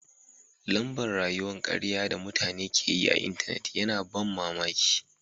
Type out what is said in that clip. Lamba'n rayuwa'n kariya da mutane ke yi a'intenet yana ban mamaki.